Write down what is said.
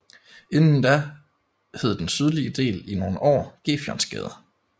Inden da hed den sydlige del i nogle år Gefionsgade